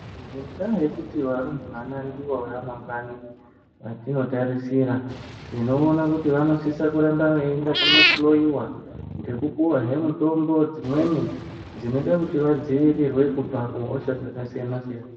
Ngendaa yekuti varumbwana ndivo vamangwani vatinotarisira. Tinoona kuti vanosisa kuramba vaienda kunohloiwa, ngekupuvahe mitombo dzimweni, dzinoita kuti vadzivirirwe kubva kuhosha dzakasiyana-siyana.